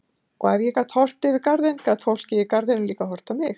Og ef ég gat horft yfir garðinn gat fólkið í garðinum líka horft á mig.